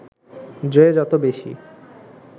যে যত বেশি